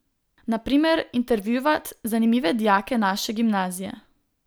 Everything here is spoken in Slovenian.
Na primer intervjuvat zanimive dijake naše gimnazije.